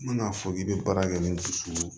N bɛna fɔ k'i bɛ baara kɛ ni dusukolo